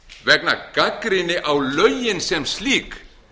vegna gagnrýni á lögin sem slík